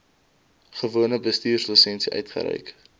gewone bestuurslisensie uitgereik